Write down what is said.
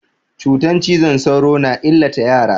Cutan cizon sauro na illata yara.